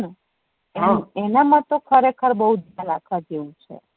હમ એના મા તો ખરેખર જેવું છે